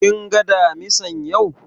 Kin ga Damisan yau?